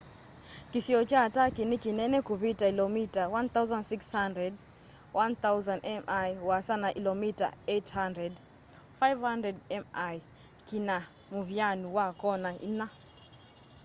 kĩsio kya turkey nĩ kĩnene kũvita ilomita 1,600 1,000 mi ũasa na ilomita 800 500 mi kĩna mũvyanũ wa kona ĩnya